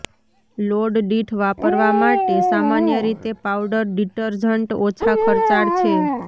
load દીઠ વાપરવા માટે સામાન્ય રીતે પાઉડર ડિટરજન્ટ ઓછા ખર્ચાળ છે